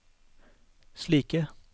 slike